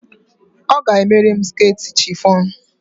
Ọ ga-emere m sketi chifon.